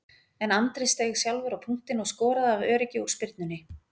En Andri steig sjálfur á punktinn og skoraði af öryggi úr spyrnunni.